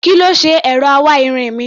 Kí ló ṣe ẹ̀rọ awáirin mi?